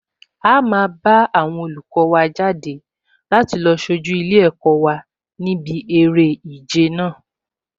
A máa bá àwọn olùkọ wa jáde láti lọ sojú ilé-ẹ̀kọ́ wa níbi eré ìje náà